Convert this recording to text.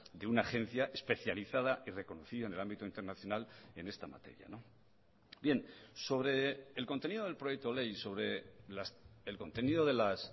de una agencia especializada y reconocida en el ámbito internacional en esta materia bien sobre el contenido del proyecto ley sobre el contenido de las